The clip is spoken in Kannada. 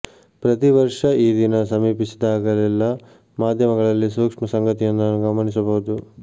ಪ್ರತಿ ವರ್ಷ ಈ ದಿನ ಸಮೀಪಿಸಿದಾಗಲೆಲ್ಲ ಮಾಧ್ಯಮಗಳಲ್ಲಿ ಸೂಕ್ಷ್ಮ ಸಂಗತಿಯೊಂದನ್ನು ಗಮನಿಸಬಹುದು